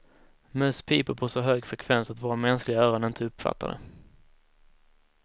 Möss piper på så hög frekvens att våra mänskliga öron inte uppfattar det.